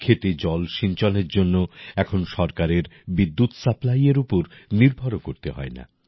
ক্ষেতে জলসিঞ্চনের জন্য এখন সরকারের বিদ্যুৎ সাপ্লাইএর উপর নির্ভরও করতে হয় না